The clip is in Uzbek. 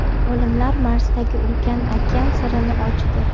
Olimlar Marsdagi ulkan okean sirini ochdi.